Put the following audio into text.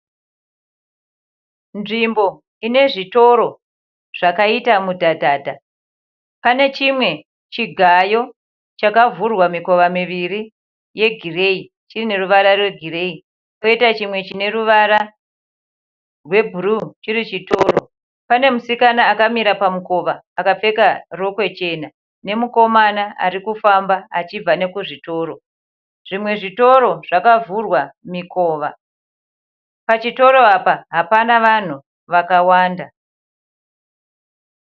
Nzvimbo ine zvitoro zvakaita mudhadhadha. Pane chimwe chigayo chakavhurwa mikoma miviri yegireyi chiine ruvara rwegireyi. Poita chimwe chine ruvara rwebhuruu chiri chitoro. Pane musikana akamira pamukova akapfeka rokwe jena nemukoma ari kufamba achibva nekuzvitoro. Zvimwe zvitoro zvakavhurwa mikova. Pachitoro apa hapana vanhu vakawanda.